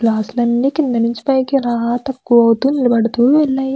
Glass లాన్ని కింద నించి పైకి అలా తక్కువవుతూ నిలబెడుతూ ఉన్నాయ్.